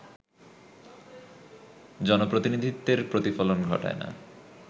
জনপ্রতিনিধিত্বের প্রতিফলন ঘটায়না